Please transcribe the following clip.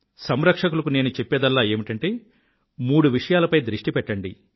సంరక్షకులకు నేను చెప్పేదల్లా ఏమిటంటే మూడు విషయాలపై దృష్టి పెట్టండి